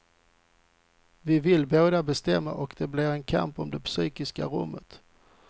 Vi vill båda bestämma och det blir en kamp om det psykiska rummet.